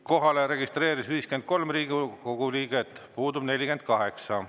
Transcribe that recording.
Kohalolijaks registreeris end 53 Riigikogu liiget, puudub 48.